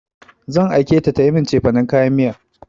Zan aike ta tayi min cefanin kayan miya.